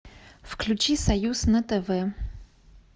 включи союз на тв